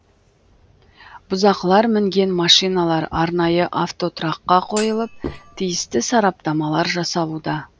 бұзақылар мінген машиналар арнайы автотұраққа қойылып тиісті сараптамалар жасалуда